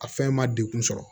A fɛn ma degun sɔrɔ